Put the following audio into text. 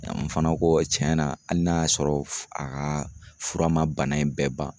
n fana ko tiɲɛ na hali n'a y'a sɔrɔ a ka fura ma bana in bɛɛ ban